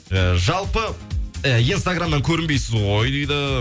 і жалпы і инстаграмнан көрінбейсіз ғой дейді